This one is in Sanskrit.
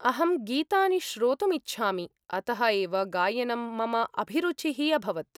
अहं गीतानि श्रोतुम् इच्छामि, अतः एव गायनं मम अभिरुचिः अभवत्।